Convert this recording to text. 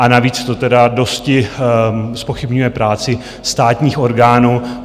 A navíc to tedy dosti zpochybňuje práci státních orgánů.